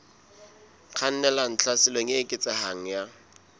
kgannelang tlhaselong e eketsehang ya